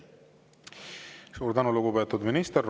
Suur tänu, lugupeetud minister!